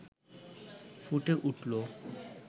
ফুটে উঠল